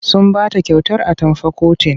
Sun ba ta kyautar atamfa kotin.